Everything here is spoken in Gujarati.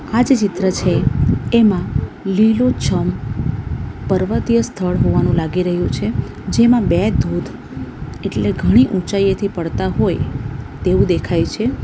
આ જે ચિત્ર છે એમાં લીલો છમ પર્વતીય સ્થળ હોવાનું લાગી રહ્યું છે જેમાં બે ધોત એટલે ઘણી ઊંચાઈએથી પડતા હોય તેવું દેખાય છે.